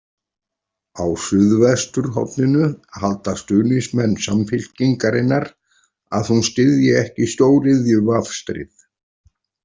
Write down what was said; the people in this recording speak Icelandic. Á Suðvesturhorninu halda stuðningsmenn Samfylkingarinnar að hún styðji ekki stóriðjuvafstrið.